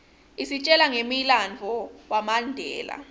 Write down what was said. isitjela ngemlandvo wamandela